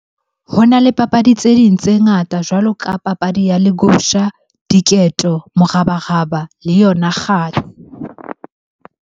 Ho na le papadi tse ding tse ngata jwalo ka papadi ya legusha, diketo, morabaraba le yona .